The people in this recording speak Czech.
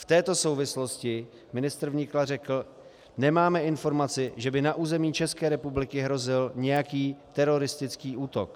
V této souvislosti ministr vnitra řekl: nemáme informaci, že by na území České republiky hrozil nějaký teroristický útok.